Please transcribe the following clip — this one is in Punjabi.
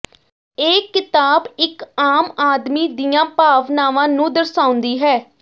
ਇਹ ਕਿਤਾਬ ਇਕ ਆਮ ਆਦਮੀ ਦੀਆਂ ਭਾਵਨਾਵਾਂ ਨੂੰ ਦਰਸਾਉਂਦੀ ਹੈ